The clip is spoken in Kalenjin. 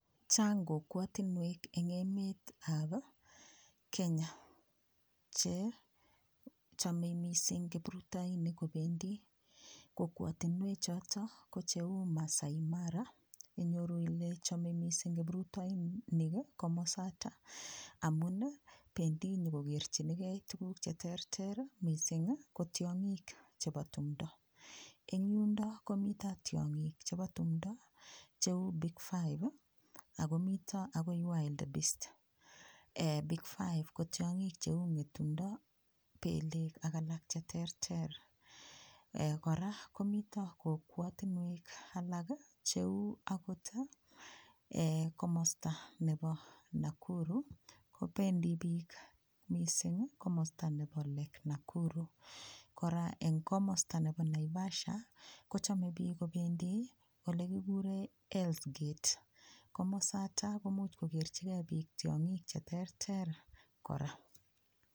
Chaang kokwotunwek eng emet ap Kenya che chamei mising kiprutainik kopendi kokwotunwek choto ko cheu Maasai Mara inyoru ile chome mising kiprutainik komosta amun pendi nyokokerchikei tukuuk cheterter mising ko tiong'ik chebo tumdo ing yundo komito tiong'ik chebo tumdo cheu big five akomito akoi wildbeast .Big five ko tiong'ik cheu ng'etungdo pelek ak alak cheterter kora komito kokwotunwek alak cheu akot komosta neu Nakuru kopendi piik mising komosta nebo lake Nakuru kora eng komosta nebo Naivasha kocham kobendi piik elekikure Hells gate komosata komuch kokerchige piik tiongik cheterter kora.